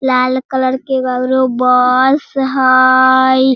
लाल colour के ईगो ओरो बस हई।